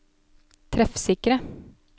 treffsikre